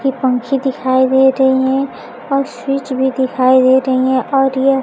ये पंखे दिखाई दे रहीं हैं और स्विच भी दिखाई दे रहीं हैं और यह --